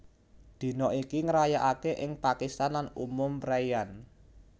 Dina iki ngrayakake ing Pakistan lan umum preian